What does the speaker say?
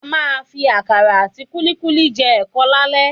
A máa fi àkàrà àti kúlíkúlí jẹ ẹ̀kọ lálẹ́